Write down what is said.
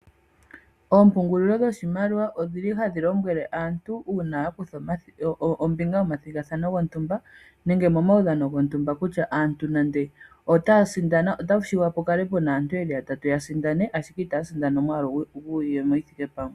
Oompungulilo dhoshimaliwa odhili hadhi lombwele aantu uuna ya kutha ombinga momathigathano gontumba nenge momaudhano gontumba kutya aantu nande otaya sindana . Otashi shiwa pukale puna aantu yeli ya tatu taya sindana ashike itaya sindana omwaalu gwiiyemo yithike pamwe.